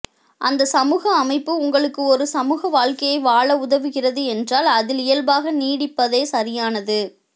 அந்த சமூக அமைப்பு உங்களுக்கு ஒரு சமூகவாழ்க்கையை வாழ உதவுகிறது என்றால் அதில் இயல்பாக நீடிப்பதே சரியானது